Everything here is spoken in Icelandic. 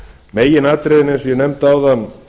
meginatriðin eins og ég nefndi áðan